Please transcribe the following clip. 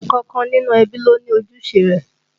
Ẹnìkọ̀ọ̀kan nínú ẹbí ló ní ojúṣe rẹ̀